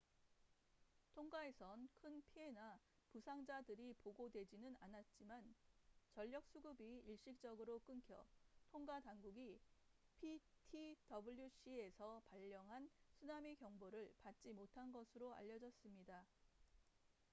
통가에선 큰 피해나 부상자들이 보고되지는 않았지만 전력 수급이 일시적으로 끊겨 통가 당국이 ptwc에서 발령한 쓰나미 경보를 받지 못한 것으로 알려졌습니다